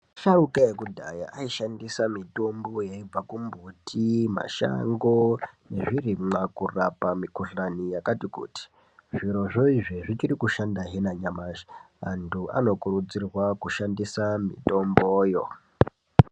Asharuka ekudhaya aishandisa mitombo yaibva kumbiti yemashango nezvirimwa kurapa mikuhlani yakati kuti zvirozvoizvo zvikushanda hee nanyamashi antu anokurudzirwa kushandisa mitomboyo.